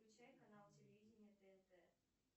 включай канал телевидение тнт